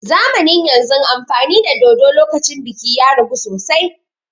Zamanin yanzun amfani da dodo lokacin biki ya ragu sosai